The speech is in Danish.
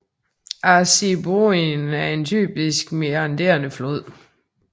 Assiniboine er en typisk meanderende flod